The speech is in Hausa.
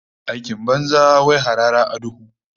Aikin banza, wai harara a duhu